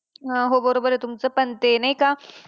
अं हो बरोबर आहे तुमचं पण ते नाही का.